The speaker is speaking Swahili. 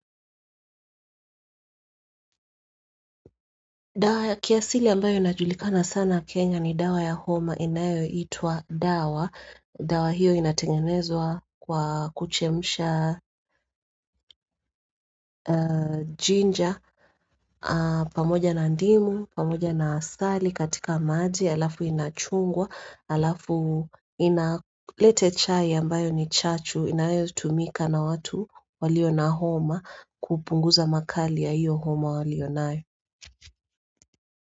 Dawa ya kiasili ambayo inajulikana sana Kenya ni dawa ya homa inayo itwa dawa. Dawa hiyo inatengenezwa kwa kuchemsha jinja pamoja na ndimu, pamoja na asali, katika maji, alafu inachungwa, alafu inalete chai ambayo ni chachu, inayo tumika na watu walio na homa kupunguza makali ya hiyo homa walio nayo.